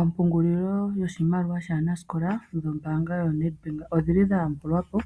Ompungulilo yoshimaliwa shaanasikola noNedbank odhili dha yambulwapo